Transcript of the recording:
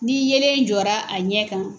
Ni yelen jɔra a ɲɛ kan